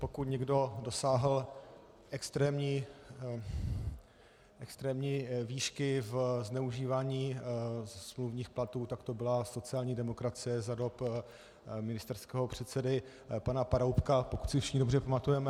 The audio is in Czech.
Pokud někdo dosáhl extrémní výšky ve zneužívání smluvních platů, tak to byla sociální demokracie za dob ministerského předsedy pana Paroubka, pokud si všichni dobře pamatujeme.